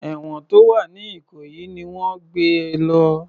Èwọ̀n tó wà ní ìkòyí ni wọ́n gbé e lọ